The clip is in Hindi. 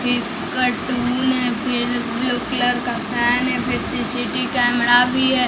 फिर कार्टून है फिर ब्लू कलर का फैन है फिर सीसीटी कैमरा भी है।